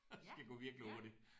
Skal gå virkelig hurtigt